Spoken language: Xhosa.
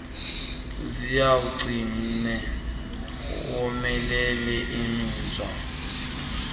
ziwugcine womelele zibizwa